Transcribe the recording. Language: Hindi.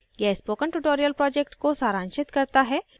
यह spoken tutorial project को सारांशित करता है